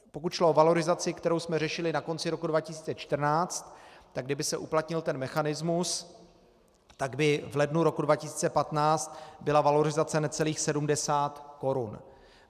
Pokud šlo o valorizaci, kterou jsme řešili na konci roku 2014, tak kdyby se uplatnil ten mechanismus, tak by v lednu roku 2015 byla valorizace necelých 70 korun.